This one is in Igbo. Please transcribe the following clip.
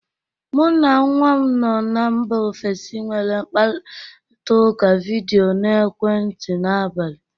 Mụ na nwa m nọ na mba ofesi nwere nkparịtaụka vidịo n'ekwentị m n'abalị